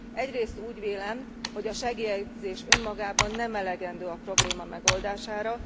Egyrészt úgy vélem, hogy a segélyezés önmagában nem elegendő a probléma megoldására.